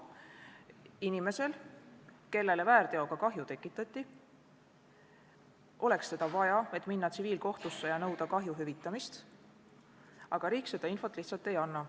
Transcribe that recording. Inimesel, kellele väärteoga kahju tekitati, oleks seda infot vaja, et minna tsiviilkohtusse ja nõuda kahju hüvitamist, aga riik seda lihtsalt ei anna.